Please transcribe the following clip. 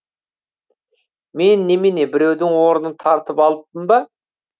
мен немене біреудің орнын тартып алыппын ба